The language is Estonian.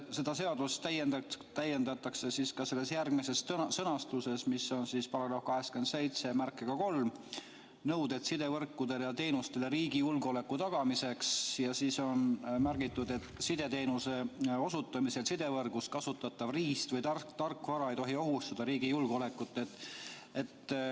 Seda seadust täiendatakse §-ga 873 "Nõuded sidevõrkudele ja -teenustele riigi julgeoleku tagamiseks" ning seal on märgitud, et sideteenuse osutamisel sidevõrgus kasutatav riist- või tarkvara ei tohi ohustada riigi julgeolekut.